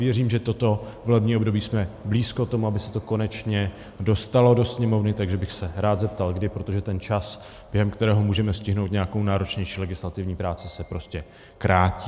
Věřím, že toto volební období jsme blízko tomu, aby se to konečně dostalo do Sněmovny, takže bych se rád zeptal kdy, protože ten čas, během kterého můžeme stihnout nějakou náročnější legislativní práci, se prostě krátí.